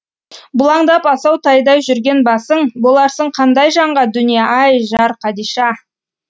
бұлаңдап асау тайдай жүрген басың боларсың қандай жанға дүние ай жар қадиша